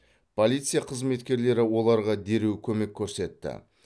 полиция қызметкерлері оларға дереу көмек көрсетті